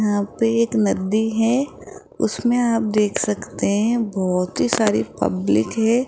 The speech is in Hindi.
यहां पे एक नदी है उसमें आप देख सकते हैं बहोत ही सारी पब्लिक है।